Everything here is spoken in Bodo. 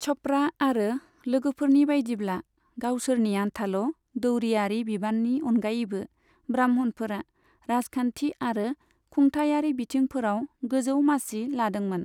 च'पड़ा आरो लोगोफोरनि बायदिब्ला, गावसोरनि आन्थाल' दौरियारि बिबान्नि अनगायैबो ब्राह्मणफोरा राजखान्थि आरो खुंथायारि बिथिंफोराव गोजौ मासि लादोंमोन।